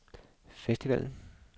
festivalen